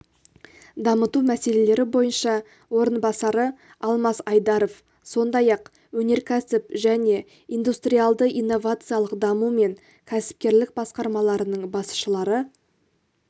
дамыту мәселелері бойынша орынбасары алмас айдаров сондай-ақ өнеркәсіп және индустриалды-инновациялық даму мен кәсіпкерлік басқармаларының басшылары